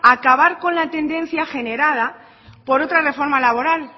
acabar con la tendencia generada por otra reforma laboral